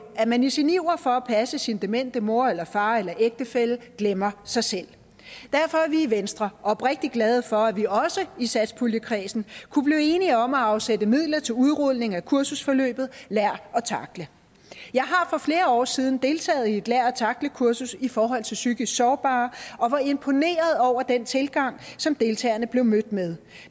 at man i sin iver for at passe sine demente mor eller far eller ægtefælle glemmer sig selv derfor er vi i venstre oprigtig glade for at vi også i satspuljekredsen kunne blive enige om at afsætte midler til udrulning af kursusforløbet lær at tackle jeg har for flere år siden deltaget i et lær at tackle kursus i forhold til psykisk sårbare og var imponeret over den tilgang som deltagerne blev mødt med